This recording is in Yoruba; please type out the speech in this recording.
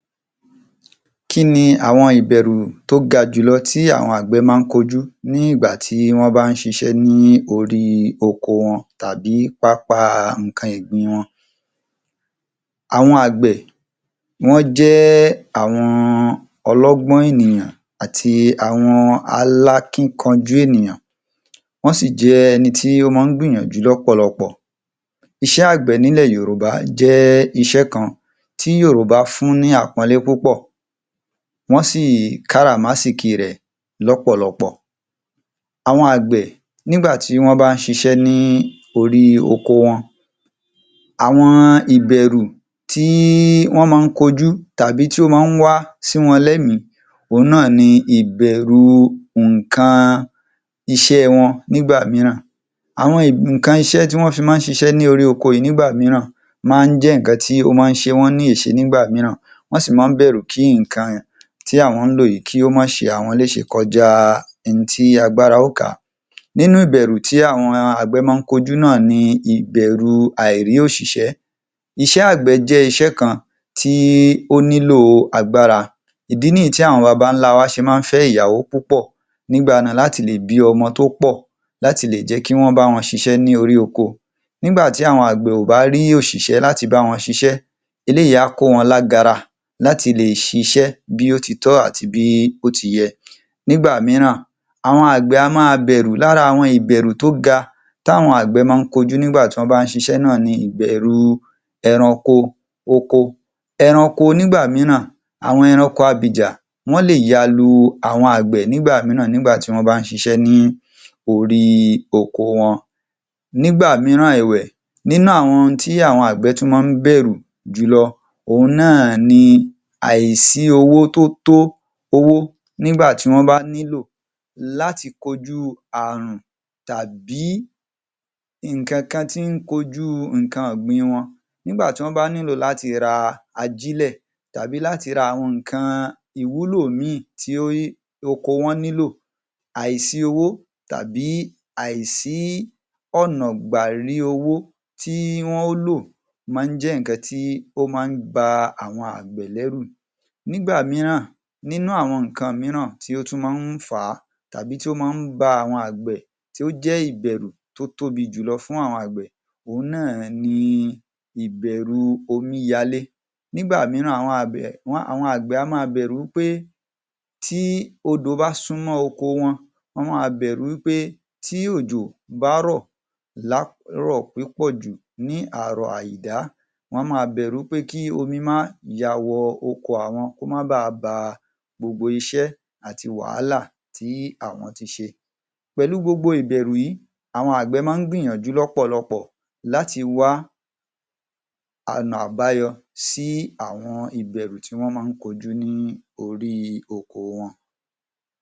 Kí ni àwọn ìbẹ̀rù tó ga jù lọ tí àwọn àgbẹ̀ máa ń kojú ní ìgbà tí wọ́n ba ń ṣe iṣẹ́ ní orí oko wọn tàbí pápá nǹkan ọ̀gbìn wọn? Àwọn àgbẹ̀ ni wọ́n jẹ́ àwọn ọlọ́gbọ́n ènìyàn àti àwọn alákíkanjú ènìyàn, wọ́n si jẹ́ ẹni tí ó máa ń gbìyànjú lọ́pọ̀lọpọ̀. Iṣẹ́ àgbẹ̀ nílẹ̀ Yorùbá jẹ́ iṣẹ́ kan tí Yorùbá fún ni àpọ́nlé púpọ̀, wọ́n sì káràmásìkí rẹ̀ lọ́pọ̀lọpọ̀, àwọn àgbẹ̀ nígbà tí wọ́n bá ṣiṣẹ́ ní orí oko wọn, àwọn ìbẹ̀rù tí wọ́n máa ń kojú tàbí tí ó máa ń wá sí wọ́n lẹ̀mí, òun náà ni ìbẹ̀rù nǹkan iṣẹ́ wọn nígbà mìíràn. Àwọn nǹkan iṣẹ́ tí wọ́n fi máa ń ṣiṣẹ́ lórí oko yìí nígbà mìíràn máa ń jẹ́ nǹkan tí ó máa ń ṣe wọ́n ní èṣe nígbà mìíràn, wọ́n sì máa ń bẹ̀rù kí nǹkan tí àwọn ń lò yìí kí ó máa ṣe àwọn léṣe kọjá ihun tí agbára ó ká. Nínú ìbẹ̀rù tí àwọn àgbẹ̀ máa ń kojú náà ni ìbẹ̀rù àìrí òṣìṣẹ́, iṣẹ́ àgbẹ̀ jẹ́ iṣẹ́ kan tí ó nílò agbára, ìdí nìyí tí àwọn bàbá ńlá wa ṣe máa ń fẹ́ ìyàwó púpọ̀ nígbà náà láti lè bí ọmọ tó pọ̀, láti lè jẹ́ kí wọ́n bá wọn ṣiṣẹ́ ní orí oko. Nígbà tí àwọn àgbẹ̀ ò bá rí òṣìṣẹ́ láti bá wọn ṣiṣẹ́, eléyìí á kó wọ́n lágara láti lè ṣiṣẹ́ bí ó ti tọ́ àti bí ó ti yẹ, nígbà mìíràn àwọn àgbẹ̀ á máa bẹ̀rù. Lára àwọn ìbẹ̀rù tó ga táwọn àgbẹ̀ máa ń kojú tí wọ́n bá ń ṣiṣẹ́ náà ni ìbẹ̀rù ẹranko oko, ẹranko nígbà mìíràn, àwọn ẹranko abìjà, wọ́n lè ya lu àwọn àgbẹ̀ nígbà mìíràn nígbà tí wọ́n bá ń ṣiṣẹ́ lórí oko wọn. Nígbà mìíràn ẹ̀wẹ̀, nínú àwọn ohun tí àwọn àgbẹ̀ tún máa ń bẹ̀rù jù lọ, òun náà ni àìsí owó tó tó owó nígbà tí wọ́n bá nílò láti kojú ààrùn tàbí nǹkan kan tí ń kojú nǹkan ọ̀gbìn wọn, nígbà tí wọ́n bá nílò láti ra ajílẹ̀ tàbí láti ra àwọn nǹkan ìwúlò mìí tí ó oko wọn nílò, àìsí owó tàbí àìsí ọ̀nà gbà rí owó tí wọ́n ó lọ̀ máa ń jẹ́ nǹkan tí ó ba àwọn àgbẹ̀ lẹ́rù. Nígba mìíràn, nínú àwọn nǹkan mìíràn tí ó tún máa ń fà á tàbí tí ó máa ń ba àwọn àgbẹ̀ tí ó jẹ́ ìbẹ̀rù tó tóbi jùlọ fún àwọn àgbẹ̀, òun náà ni ìbẹ̀rù omi ya lé, nígbà mìíràn àwọn àgbẹ̀ á máa bẹ̀rù pé tí odò bá súmọ́ oko wọn, wá máa bẹ̀rù wí pé tí òjò bá rọ̀ lárọ̀ púpọ̀ jù, ní àrọ̀ àìdá, wá máa bẹ̀rù pé kí omi máa ya wọ oko àwọn, kó máa ba ba gbogbo iṣẹ́ àti wàhálà tí àwọn ti ṣe, pẹ̀lú gbogbo ìbẹ̀rù yìí, àwọn àgbẹ̀ máa ń gbìyànjú lọ́pọ̀lọpọ̀ láti wá ọ̀nà àbáyọ sí àwọn ìbẹ̀rù tí wọ́n máa ń kojú ní orí oko wọn.